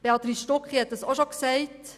Béatrice Stucki hat es auch schon gesagt.